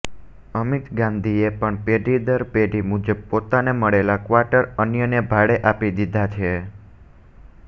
અમિત ગાંધીએ પણ પેઢી દર પેઢી મુજબ પોતાને મળેલા ક્વાટર અન્યને ભાડે આપી દીધા છે